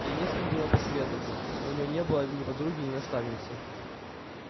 ей не с кем было посоветоваться у неё не было ни подруги ни наставницы